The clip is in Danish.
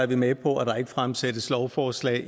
vi med på at der ikke fremsættes lovforslag